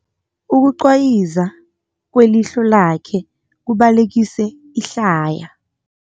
Ukucwayiza kwelihlo lakhe kubalekise ihlaya.